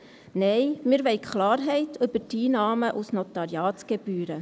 Nein, wir wollen Klarheit über die Einnahmen aus Notariatsgebühren.